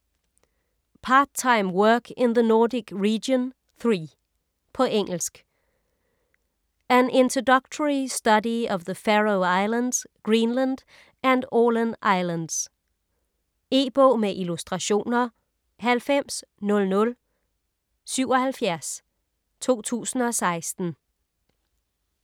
Part-Time Work in the Nordic Region III På engelsk. An introductory study of the Faroe Islands, Greenland and Åland Islands. E-bog med illustrationer 900077 2016.